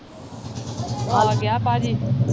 ਆ ਗਿਆ ਭਾਜੀ